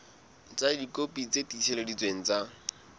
ka dikopi tse tiiseleditsweng tsa